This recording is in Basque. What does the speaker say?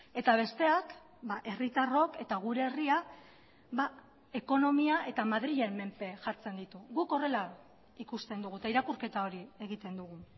eta besteak herritarrok eta gure herria ekonomia eta madrilen menpe jartzen ditu guk horrela ikusten dugu eta irakurketa hori egiten dugu